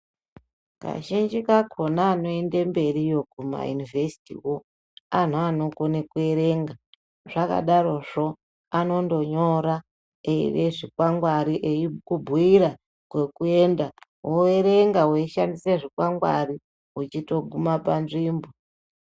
Kazhinji kakhona anoyinde mberi yoguma yunivesiti, anu anokone kuyerenga. Zvakadaro zvo, anondonyora zvikwangari eyikubuyira kokuyenda. Woyerenga weyishandise zvikwangwari uchitoguma panzvimbo.